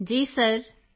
Kritika ji sir